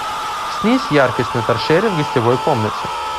снизь яркость на торшере в гостевой комнате